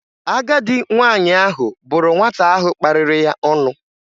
Agadị nwaanyị ahụ bụrụ nwata ahụ kparịrị ya ọnụ